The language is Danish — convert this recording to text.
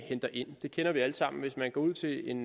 henter ind det kender vi alle sammen hvis man går til en